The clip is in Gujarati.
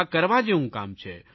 આ કરવા જેવું કામ છે